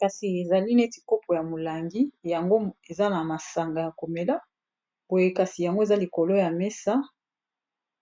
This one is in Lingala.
kasi ezali neti kopo ya molangi yango eza na masanga ya komela poye kasi yango eza likolo ya mesa